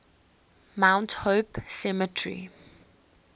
mount hope cemetery